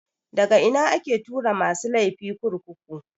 Daga ina ake tura masu laifi kurkuku?